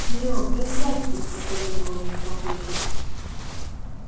серёг да сядь ты посоветовал ему папулька